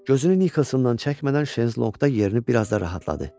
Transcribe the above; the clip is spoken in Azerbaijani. Gözünü Nikkelsindən çəkmədən şezlonqda yerini biraz da rahatladı.